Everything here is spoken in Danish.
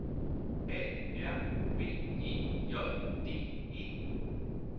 A R B E J D E